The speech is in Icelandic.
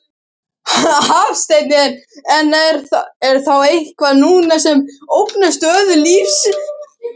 Hafsteinn: En er þá eitthvað núna sem ógnar stöðu lífeyrissjóðanna?